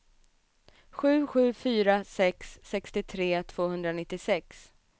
sju sju fyra sex sextiotre tvåhundranittiosex